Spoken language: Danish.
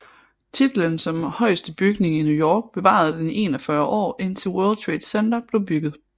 Titlen som højeste bygning i New York bevarede den i 41 år indtil World Trade Center blev bygget